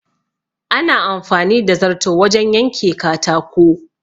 Ana amfani da zarto wajen yanke katako.